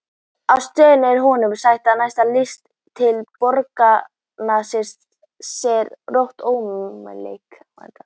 Á stöðinni er honum sagt að næsta lest inn til borgarinnar sé rétt ókomin.